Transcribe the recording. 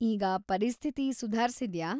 ಈಗ ಪರಿಸ್ಥಿತಿ ಸುಧಾರ್ಸಿದ್ಯಾ?